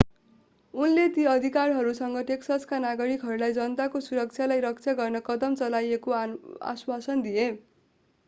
उनले ती अधिकारीहरूसँगै टेक्ससका नागरिकहरूलाई जनताको सुरक्षालाई रक्षा गर्न कदम चालिएको आश्वासन दिए